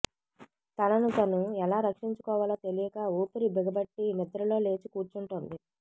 తనను తను ఎలా రక్షించుకోవాలో తెలియక ఊపిరిబిగబట్టి నిద్రలో లేచి కూర్చుంటోంది